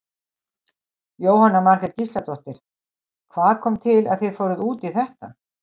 Jóhanna Margrét Gísladóttir: Hvað kom til að þið fóruð út í þetta?